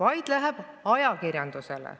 See läheb ajakirjandusele.